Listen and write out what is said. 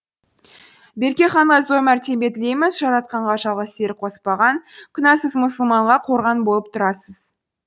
берке ханға зор мәртебе тілейміз жаратқанға жалғыз серік қоспаған күнәсіз мұсылманға қорған болып тұрасыз